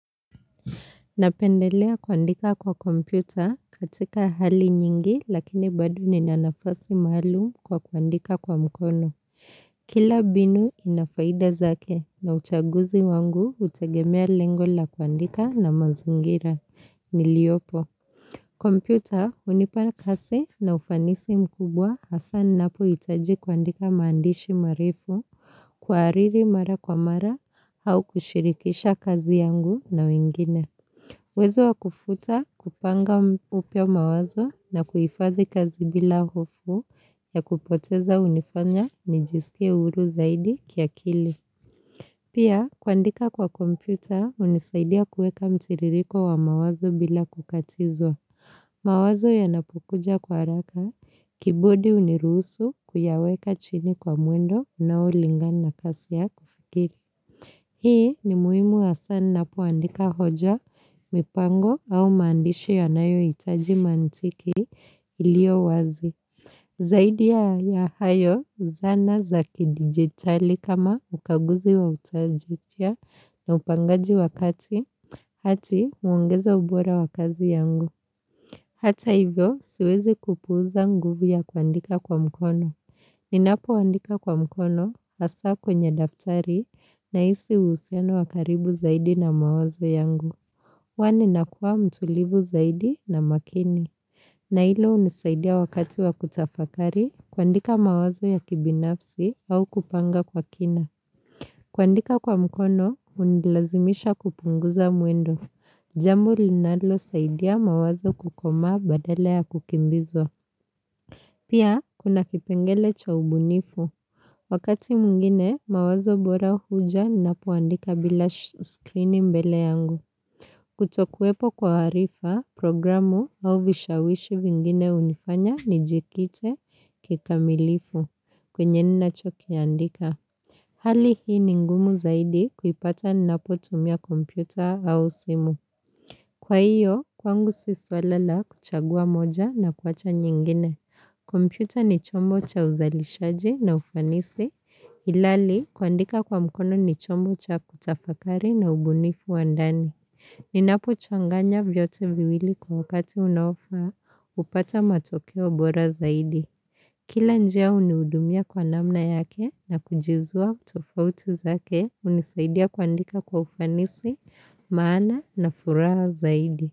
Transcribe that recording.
Napendelea kuandika kwa kompyuta, katika hali nyingi, lakini bado ninanafasi maalum kwa kuandika kwa mkono. Kila mbinu inafaida zake na uchaguzi wangu utegemea lengo la kuandika na manzingira niliopo. Kompyuta unipana kazi na ufanisi mkubwa hasa ninapoitaji kuandika maandishi marefu. Kuariri mara kwa mara au kushirikisha kazi yangu na wengine. Uwezo wa kufuta, kupanga upya mawazo na kuifadhi kazi bila hofu ya kupoteza unifanya nijisikie huru zaidi kiakili. Pia, kuandika kwa kompyuta unisaidia kuweka mtiririko wa mawazo bila kukatizwa. Mawazo ya napokuja kwa haraka. Key board hunirusu kuyaweka chini kwa mwendo unaolingana na kasi ya kufikiri. Hii, ni muhimu hasa ninapoandika hoja, mipango au maandishi yanayoitaji mantiki iliyo wazi. Zaidi ya hayo. Zana za kidigitali kama ukaguzi wa utajitia na upangaji wakati, uongeza ubora wakazi yangu. Hata hivyo, siwezi kupuuza nguvu ya kuandika kwa mkono. Ninapo andika kwa mkono, hasa kwenye daftari, nahisi husiano wa karibu zaidi na mawazo yangu. Kwani nakuwa mtulivu zaidi na makini. Na hilo unisaidia wakati wa kutafakari, kuandika mawazo ya kibinafsi au kupanga kwa kina. Kuandika kwa mkono, hunilazimisha kupunguza mwendo. Jambo linalo saidia mawazo kukomaa badala ya kukimbizwa. Pia, kunakipengele cha ubunifu. Wakati mwingine, mawazo bora huja ninaoandika bila screen mbele yangu. Kuto kuwepo kwa harifa, programu au vishawishi vingine unifanya ni jikite kikamilifu. Kwenye ninacho kiandika. Hali hii ni ngumu zaidi kuipata ninapotumia kompyuta au simu. Kwa hiyo, kwangu si swala la kuchagua moja na kuwacha nyingine. Computer ni chombo cha uzalishaji na ufanisi. Ilali kuandika kwa mkono ni chombo cha kutafakari na ubunifu wandani. Ninapo changanya vyote viwili kwa wakati unaofaa. Upata matokeo bora zaidi. Kila njia uniudumia kwa namna yake na kujizua tofautu zake, unisaidia kuandika kwa ufanisi. Maana na furaha zaidi.